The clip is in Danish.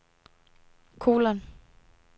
kolon